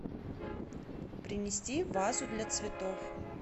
принести вазу для цветов